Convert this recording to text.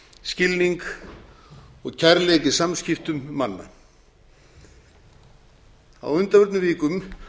skilning og kærleik í samskiptum manna á undanförnum vikum